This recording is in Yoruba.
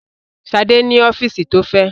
Ṣadé ní ọ́fíísì tó fẹ̀.